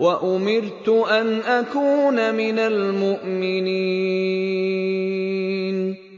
وَأُمِرْتُ أَنْ أَكُونَ مِنَ الْمُؤْمِنِينَ